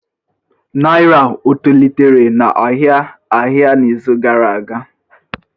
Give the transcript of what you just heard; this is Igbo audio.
Naira etolitere n'ahịa ahịa n'izu gara aga?